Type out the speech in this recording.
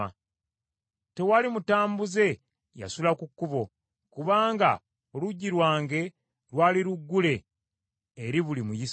Tewali mutambuze yasula ku kkubo, kubanga oluggi lwange lwali luggule eri buli muyise.